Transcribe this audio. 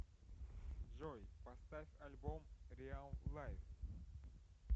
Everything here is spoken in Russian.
джой поставь альбом риал лайф